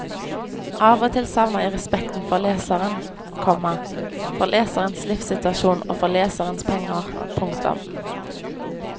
Av og til savner jeg respekten for leseren, komma for leserens livssituasjon og for leserens penger. punktum